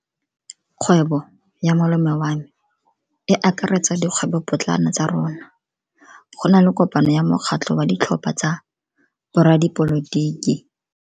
Kgwebo ya malome wa me e akaretsa dikgwebopotlana tsa rona. Go na le kopano ya mokgatlho wa ditlhopha tsa boradipolotiki.